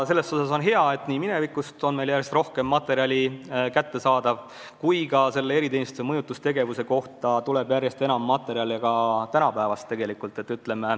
Selles mõttes on hea, et mineviku kohta on meil järjest rohkem materjali kättesaadav ja eriteenistuste mõjutustegevuse kohta tuleb järjest enam materjale ka tänapäevast.